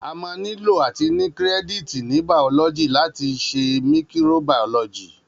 A mà nílò àtí ní kírẹdítì ní bàọlọgi làtí sẹ míkìró bàọlọjí.